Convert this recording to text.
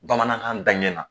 Bamanankan daɲɛ na